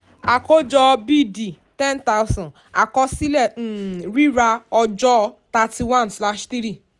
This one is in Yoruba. àkójọ b d ten thousand àkọsílẹ̀ um rírà ọjọ́ thirty one slash three